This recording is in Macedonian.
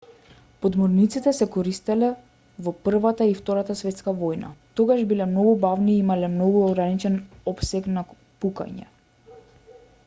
подморниците се користеле во првата и втората светска војна тогаш биле многу бавни и имале многу ограничен опсег на пукање